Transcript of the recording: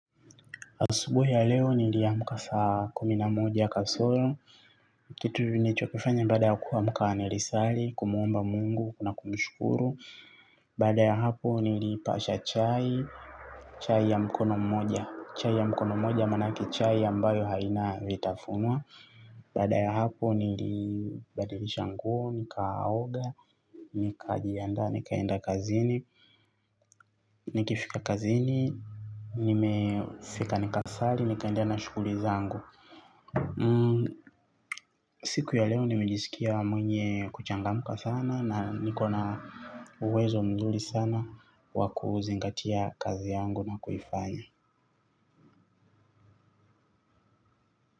Asubuhi ya leo niliamka saa kumi na moja kasoro, kitu nilichokifanya baada ya kuamka nilisali, kumuomba Mungu, na kumshukuru. Baada ya hapo niliipasha chai, chai ya mkono mmoja. Chai ya mkono mmoja maanake chai ambayo haina vitafunwa. Baada ya hapo, nilibadilisha nguo, nikaoga, nikajiandaa nikaenda kazini, nikifika kazini, nilifika nikasali nikaendelea na shughuli zangu. Siku ya leo nimejisikia mwenye kuchangamka sana na niko na uwezo mzuri sana wa kuzingatia kazi yangu na kuifanya.